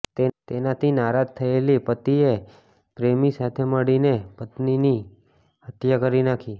તેનાથી નારાજ થયેલી પતિએ પ્રેમી સાથે મળીને પતિની હત્યા કરી નાખી